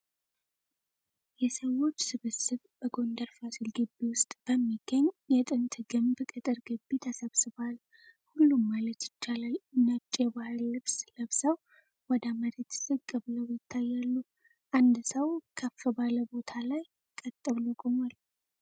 የሰዎች ስብስብ በጎንደር ፋሲል ግቢ ውስጥ በሚገኝ የጥንት ግንብ ቅጥር ግቢ ተሰብስቧል። ሁሉም ማለት ይቻላል ነጭ የባህል ልብስ ለብሰው ወደ መሬት ዝቅ ብለው ይታያሉ። አንድ ሰው ከፍ ባለ ቦታ ላይ ቀጥ ብሎ ቆሟል።